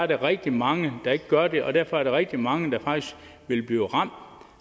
der rigtig mange der ikke gør det og derfor er der rigtig mange der faktisk vil blive ramt